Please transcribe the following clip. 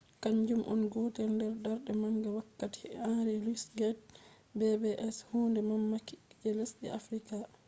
kanjum on gotel nder darde manga wakkati henry louis gates’pbs hunde mamaki je lesde africa